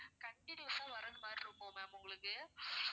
continuous ஆ வர்றது மாதிரி இருக்கும் ma'am உங்களுக்கு